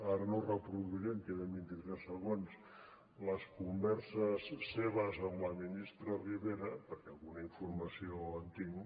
ara no ho reproduiré que em queden vint i tres segons les converses seves amb la ministra ribera perquè alguna informació en tinc